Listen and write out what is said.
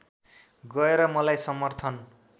गएर मलाई समर्थन